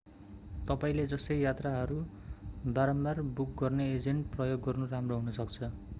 तपाईंले जस्तै यात्राहरू बारम्बार बुक गर्ने एजेन्ट प्रयोग गर्नु राम्रो हुनसक्छ